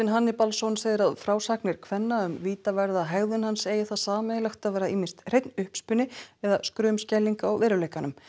Hannibalsson segir að frásagnir kvenna um vítaverða hegðun hans eigi það sameiginlegt að vera ýmist hreinn uppspuni eða skrumskæling á veruleikanum